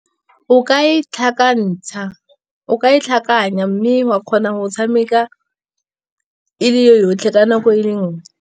O ka e tlhakanya, mme wa kgona go tshameka e le yotlhe ka nako e le nngwe.